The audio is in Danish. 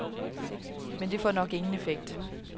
Men det får nok ingen effekt.